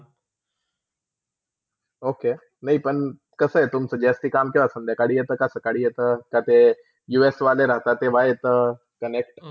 Okay मी पण कसा आहे तुमचा जास्ती काम किवा संध्याकाळी येते के सकाली येतका ते US वाले राहतात तेव्हा येता Connect